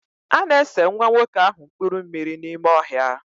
A na-ese nwa nwoke ahụ mpuru mmiri n'ime ọhịa.